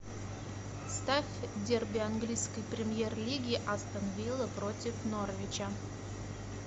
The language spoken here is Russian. ставь дерби английской премьер лиги астон вилла против норвича